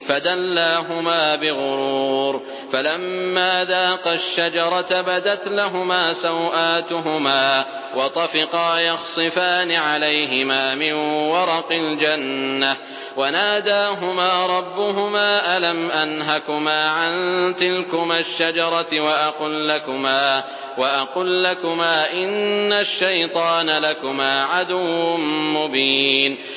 فَدَلَّاهُمَا بِغُرُورٍ ۚ فَلَمَّا ذَاقَا الشَّجَرَةَ بَدَتْ لَهُمَا سَوْآتُهُمَا وَطَفِقَا يَخْصِفَانِ عَلَيْهِمَا مِن وَرَقِ الْجَنَّةِ ۖ وَنَادَاهُمَا رَبُّهُمَا أَلَمْ أَنْهَكُمَا عَن تِلْكُمَا الشَّجَرَةِ وَأَقُل لَّكُمَا إِنَّ الشَّيْطَانَ لَكُمَا عَدُوٌّ مُّبِينٌ